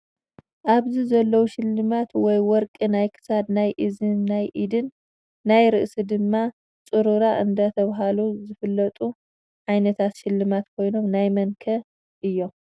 ኣብዚ ዘለዉ ሽልማት ወይ ወርቂ ናይ ክሳድ፣ ናይ እዝኒ ናይ ኢድን ናይ ርእሲ ድማ ፅሮራ እንዳተባህሉ ዝፍለጡ ዓይነታት ሽልማት ኮይኖም ናይ መንከ እዮም?